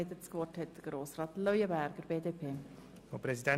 Für die BDP-Fraktion hat Grossrat Leuenberger das Wort.